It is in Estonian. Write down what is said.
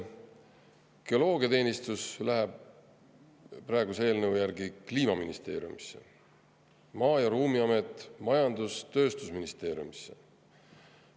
Geoloogiateenistus läheb praeguse eelnõu järgi Kliimaministeeriumisse, Maa- ja Ruumiamet majandus- ja tööstusministri alluvusse.